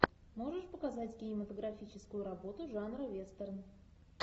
можешь показать кинематографическую работу жанра вестерн